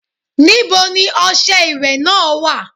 Níbo ni ọṣẹ ìwẹ̀ náà wà?